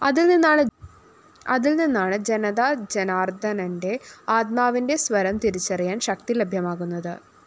അതില്‍നിന്നാണ് ജനതാജനാര്‍ദ്ദനന്റെ ആത്മാവിന്റെ സ്വരം തിരിച്ചറിയാന്‍ ശക്തി ലഭ്യമാകുന്നത്